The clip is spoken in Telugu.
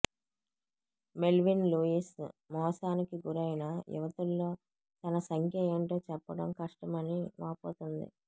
మెల్విన్ లూయిస్ మోసానికి గురైన యువతుల్లో తన సంఖ్య ఏంటో చెప్పడం కష్టమని వాపోతోంది